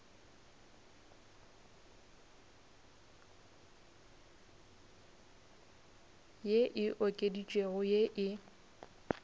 ye e okeditšwego ye e